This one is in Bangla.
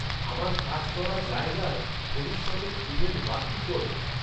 আমার কাজ করা জায়গার ভবিষ্যতের ইভেন্ট বাতিল কর